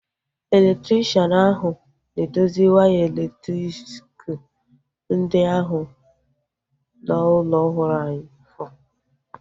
Elektrikshan ahu na-edozi waya elektriki ndị ahu n'ụlọ ọhụrụ ahu